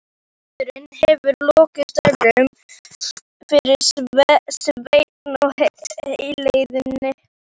Eldurinn hefur lokið störfum fyrir Svein á heiðinni.